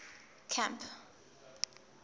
camp